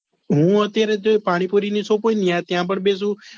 હું અત્યરે જે પાણીપુરી ની shop ત્યાં પણ બેસું